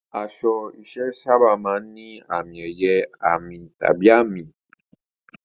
Aṣọ iṣẹ́ sábà máa ń ní àmì-ẹ̀yẹ, àmì, tàbí àmì.